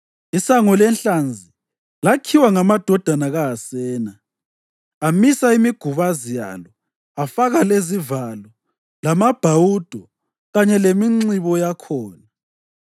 ISango leNhlanzi lakhiwa ngamadodana kaHasena. Amisa imigubazi yalo afaka lezivalo lamabhawudo kanye leminxibo yakhona.